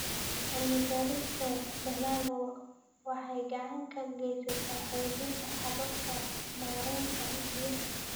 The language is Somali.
Cilmi-baarista dalaggu waxay gacan ka geysataa xoojinta hababka maaraynta biyaha.